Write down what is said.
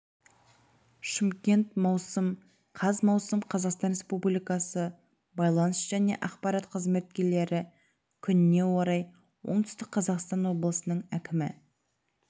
шымкент маусым қаз маусым қазақстан республикасы байланыс және ақпарат қызметкерлері күніне орай оңтүстік қазақстан облысының әкімі